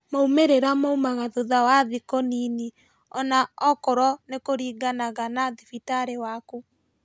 Maumĩrĩra maumaga thutha wa thikũ nini, ona okorwo nikũraringana na thibitarĩ waku